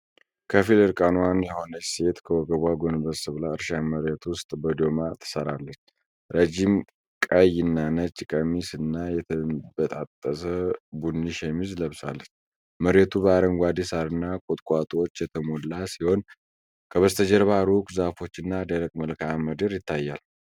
ከፊል እርቃኗን የሆነች ሴት ከወገቧ ጎንበስ ብላ እርሻ መሬት ውስጥ በዶማ ትሰራለች። ረዥም ቀይና ነጭ ቀሚስ፣ እና የተበጣጠሰ ቡኒ ሸሚዝ ለብሳለች። መሬቱ በአረንጓዴ ሳርና ቁጥቋጦዎች የተሞላ ሲሆን ከበስተጀርባ ሩቅ ዛፎችና ደረቅ መልክአ ምድር ይታያል።